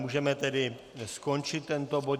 Můžeme tedy skončit tento bod.